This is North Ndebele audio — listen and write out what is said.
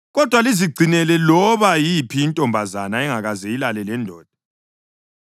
kodwa lizigcinele loba yiphi intombazana engakaze ilale lendoda.